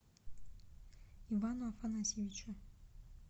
ивану афанасьевичу